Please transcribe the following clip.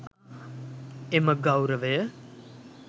එම ගෞරවය